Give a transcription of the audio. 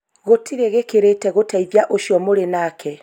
gũtirĩ gĩkĩrĩte gũteithĩa ũcio mũrĩ nake